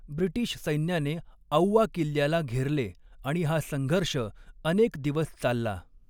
British सैन्याने औवा किल्ल्याला घेरले आणि हा संघर्ष अनेक दिवस चालला.